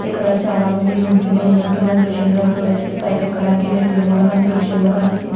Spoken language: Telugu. ఇక్కడ చాల మంది వున్నటు మనం ఈ దుర్షం లో చుడచు పాకి ఎక్క్కడానికి మేతుల్లు కూడా వున్నటు మనకి తెల్లుస్తుంది.